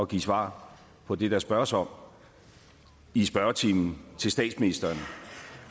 give svar på det der spørges om i spørgetimen til statsministeren